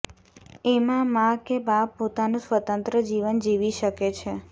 એમાં મા કે બાપ પોતાનું સ્વતંત્ર જીવન જીવી શકે છે